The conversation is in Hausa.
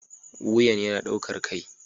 Wuyan yana ɗaukar kai